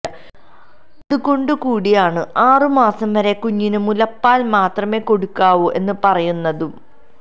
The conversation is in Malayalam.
അതുകൊണ്ടു കൂടിയാണ് ആറുമാസം വരെ കുഞ്ഞിന് മുലപ്പാല് മാത്രമെ കൊടുക്കാവൂ എന്ന് പറയുന്നതും